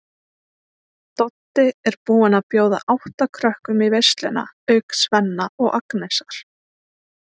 Doddi er búinn að bjóða átta krökkum í veisluna auk Svenna og Agnesar.